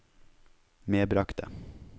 medbragte